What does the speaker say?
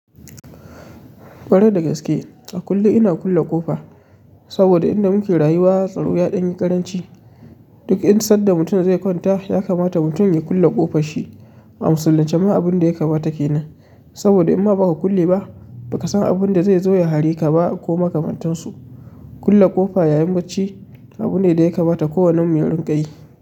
Kwarai da gaske, a kullum ina kulle ƙofa. Saboda inda muke rayuwa, tsaro yaɗan ƙaranci. Duk insadda mutum zai kwanta ya kamata mutum ya kulle ƙofar shi. A musulunce ma abunda ya kamata kenan. Saboda in ma baka kulle ba, baka san abinda zai zo ya hareka ba ko makamantansu. Kulle ƙofa yayin da bacci abu ne da yakamata ko wannen mu ya riƙa yi.